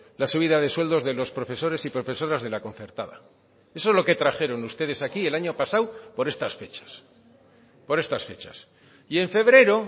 la subida de sueldos de los profesores y profesoras de la concertada eso es lo que trajeron ustedes aquí el año pasado por estas fechas por estas fechas y en febrero